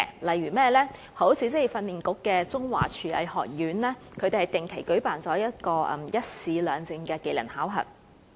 例如職業訓練局的中華廚藝學院會定期舉辦"一試兩證"的技能考核。